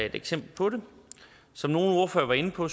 et eksempel på det som nogle ordførere var inde på